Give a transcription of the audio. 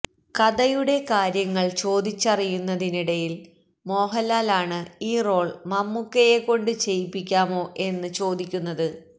കഥയുടെ കാര്യങ്ങൾ ചോദിച്ചറിയുന്നതിനിടയിൽ മോഹൻലാൽ ആണ് ഈ റോൾ മമ്മൂക്കയെക്കൊണ്ട് ചെയ്യിപ്പിക്കാമോ എന്ന് ചോദിക്കുന്നത്